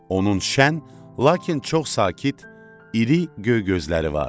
Onun şən, lakin çox sakit, iri göy gözləri vardı.